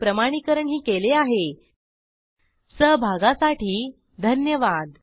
ह्या ट्युटोरियलचे भाषांतर मनाली रानडे यांनी केले असून मी रंजना भांबळे आपला निरोप घेते160सहभागासाठी धन्यवाद